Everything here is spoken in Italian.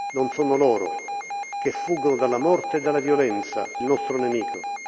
Non sono loro, che fuggono dalla morte e dalla violenza, il nostro nemico.